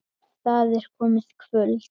Það er komið kvöld.